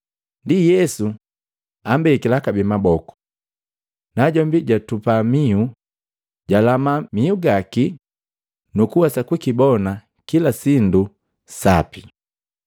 Ndi Yesu ambekila kabee maboku. Najombi jatupa mihu, jwalama miugaki nukuwesa kukibona kilasindu sapi.